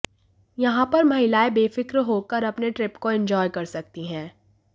यहां पर महिलाएं बेफ्रिक होकर अपने ट्रिप को एन्जॉय कर सकती हैं